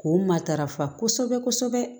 K'o matarafa kosɛbɛ kosɛbɛ